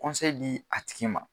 di a tigi ma.